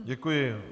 Děkuji.